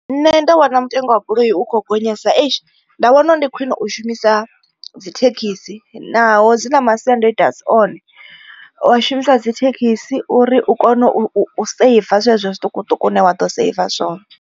Nṋe ndo vhona mutengo wa goloi u kho gonyesa eish nda wana uri ndi khwine u shumisa dzi thekhisi. Naho dzi na masiandoitwa asi one wa shumisa dzithekhisi uri u kone u u seiva zwezwo zwiṱukuṱuku une wa ḓo seiva zwone.